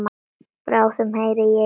Bráðum heyri ég í þér.